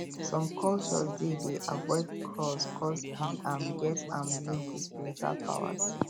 some cultures dey dey avoid crows coz e um get um link with spiritual powers